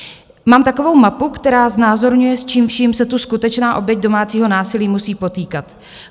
Mám takovou mapu, která znázorňuje, s čím vším se tu skutečná oběť domácího násilí musí potýkat.